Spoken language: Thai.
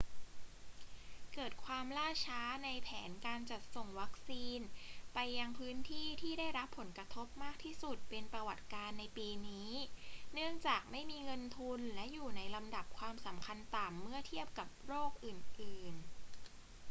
เกิดความล่าช้าในแผนการจัดส่งวัคซีนไปยังพื้นที่ที่ได้รับผลกระทบมากที่สุดเป็นประวัติการณ์ในปีนี้ เนื่องจากไม่มีเงินทุนและอยู่ในลำดับความสำคัญต่ำเมื่อเทียบกับโรคอื่น ๆ